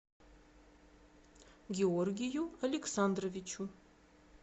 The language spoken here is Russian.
георгию александровичу